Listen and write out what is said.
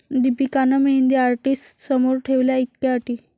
दीपिकानं मेहंदी आर्टिस्टसमोर ठेवल्या इतक्या अटी